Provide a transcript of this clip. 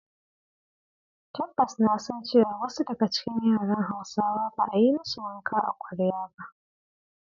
Tabbas na san cewa wasu daga cikin yaran Hausawa ba a yi ma su wanka a kwarya ba.